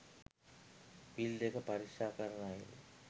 පිල් දෙක පරීක්‍ෂා කරන අයුරු